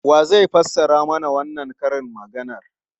Wa zai fassara mana wannan karin maganar?